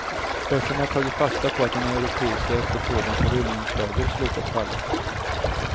Börsen har tagit fasta på att den europeiska efterfrågan på rullningslager slutat falla.